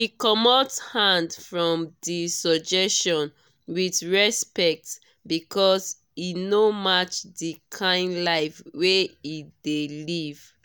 e comot hand from d suggestion with respect because e no match d kind life wey e dey live